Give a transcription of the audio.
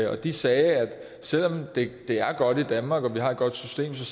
og de sagde at selv om det er godt i danmark og vi har et godt system så